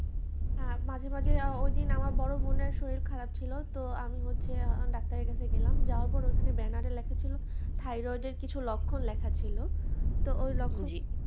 হ্যাঁ মাঝে মাঝে আ ওইদিন আমার বড়বোনের শরীর খারাপ ছিল তো আমি হচ্ছে ডাক্তারের কাছে গেলাম যাওয়ার পর ওখানে banner এ লেখা ছিল thyroid এর কিছু লক্ষণ লেখা ছিল তো ওই লক্ষণ